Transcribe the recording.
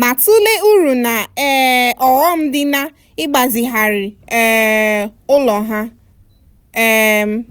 ma-tụlee uru na um ọghọm dị n'ịgbazigharị um ụlọ ha. um